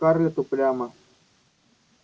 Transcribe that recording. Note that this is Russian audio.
скарлетт упрямо